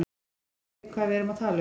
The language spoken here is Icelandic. Skiljið þið hvað við erum að tala um.